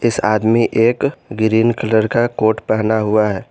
इस आदमी एक ग्रीन कलर का कोट पहना हुआ है।